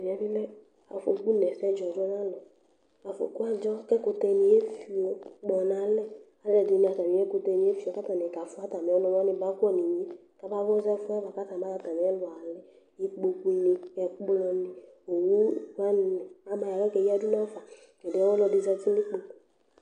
Ɛmɛ bi mɛ afɔku n'ɛsɛ dzɔ du n'alu, afɔku adzɔ ku ɛkutɛ ni efió kpɔ n'alɛ, aluɛdini atamìɛkutɛni efió k'atani kafua atamiɔnuwani ba kɔ nu inye k'aba fusu ɛfuɛ bua ku atani ba yɔ atamiɛlu ãlɛ, ikpokuni, ɛkplɔni, owuwani aba ya k'aka eyadu nuafa, t'ɛdiɛ ɔluɛdi zati n'ikpoku